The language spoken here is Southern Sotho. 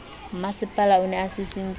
mmasepala o ne a sisintse